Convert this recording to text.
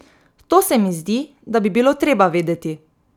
To se mi zdi, da bi bilo treba vedeti.